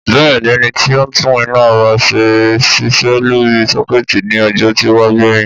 Bẹ́ẹ̀ni ẹni tí ó ń tún iná ọba ṣe ṣiṣẹ́ lórí sókétì ní ojó tí ó wá gbéyìn